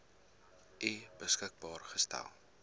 u beskikbaar gestel